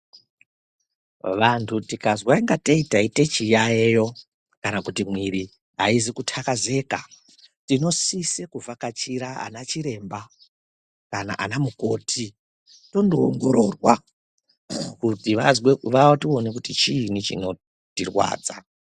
Vantu tikazwa ngateintaita chiyayiyo kana kuti mwiri aisi kutakazeka inosisa kuvhakachira ana chiremba kana ana mukoti tondoongororwa kuti vatione kuti chinyi xhinotirwadza.